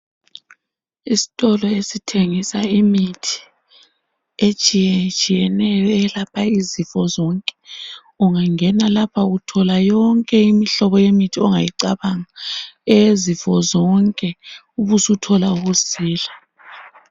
Isitolo esithengisa imithi etshiyetshiyeneyo ,eyelapha izifo zonke. Ungangena lapha uthola yonke imihlobo yemithi ongayicabanga eyezifo zonke ube suthola ukusila.